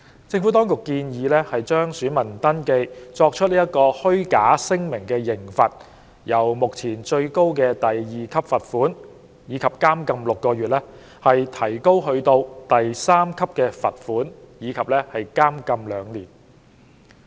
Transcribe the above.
政府當局建議加重就選民登記作出虛假聲明的刑罰，由目前最高的第2級罰款及監禁6個月，提高至第3級罰款及監禁2年。